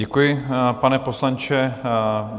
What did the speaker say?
Děkuji, pane poslanče.